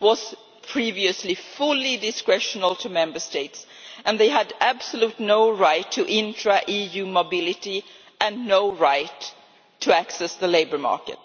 was previously fully discretional upon Member States and they had absolutely no right to intra EU mobility and no right to access the labour market.